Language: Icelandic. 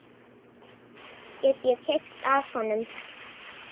Get ég keypt af honum?